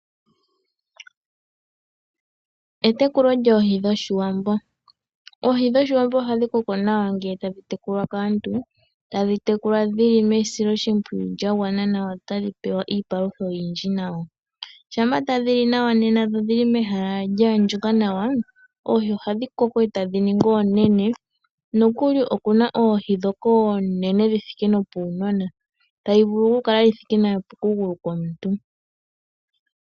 Etekulo lyoohi dhoshiwambo, oohi dhoshiwambo ohadhi koko nawa ngele tadhi tekulwa kaantu, tadhi tekulwa dhili mesilo shipwiyu lya gwana nawa no tadhi pewa iipalutha oyindji nawa. Shampa ta dhili nawa nena dho odhili mehala lya andjuka nawa oohi oha dhi koko eta dhi ningi oonene, nokuli okuna oohi ndhoka oonene dhi thike nopuunona tayi vulu kukala yithike nopokugulu komuntu.